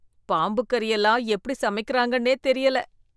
பாம்புக்கறி எல்லாம் எப்படி சமைக்கறாங்கன்னே தெரியல.